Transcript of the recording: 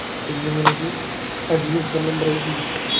പിന്നെ admission number